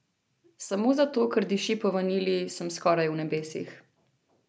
Samo zato, ker diši po vanilji, sem skoraj v nebesih.